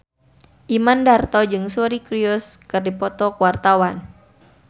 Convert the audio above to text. Imam Darto jeung Suri Cruise keur dipoto ku wartawan